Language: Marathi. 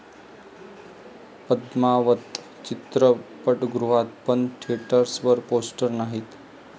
पद्मावत' चित्रपटगृहात, पण थिएटर्सवर पोस्टर्स नाहीत